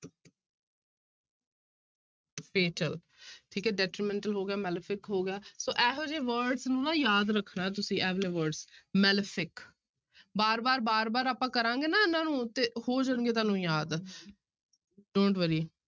Fatal ਠੀਕ detrimental ਹੋ ਗਿਆ malefic ਹੋ ਗਿਆ ਸੋ ਇਹੋ ਜਿਹੇ words ਨੂੰ ਨਾ ਯਾਦ ਰੱਖਣਾ ਤੁਸੀਂ ਇਹ ਵਾਲੇ words, malefic ਬਾਰ ਬਾਰ, ਬਾਰ ਬਾਰ ਆਪਾਂ ਕਰਾਂਗੇ ਨਾ ਇਹਨੂੰ ਤੇ ਹੋ ਜਾਣਗੇ ਤੁਹਾਨੂੰ ਯਾਦ don't worry